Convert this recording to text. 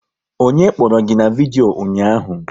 Onye kpọrọ gị na vidyo ụnyaahụ?